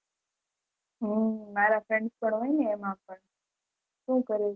હમ મારા friends પન હોય એમાં પન શું કેહવું